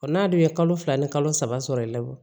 n'a dun ye kalo fila ni kalo saba sɔrɔ i la wo